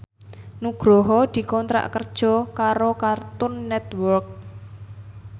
Nugroho dikontrak kerja karo Cartoon Network